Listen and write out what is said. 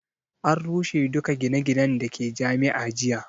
An rushe duka gine ginen da ke Jami'a jiya